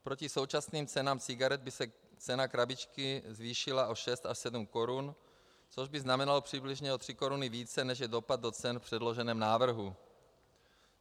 Proti současným cenám cigaret by se cena krabičky zvýšila o šest a sedm korun, což by znamenalo přibližně o tři koruny více, než je dopad do cen v předloženém návrhu.